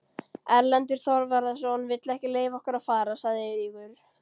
Erlendur Þorvarðarson vill ekki leyfa okkur að fara, sagði Eiríkur.